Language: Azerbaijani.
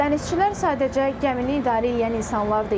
Dənizçilər sadəcə gəmini idarə eləyən insanlar deyil.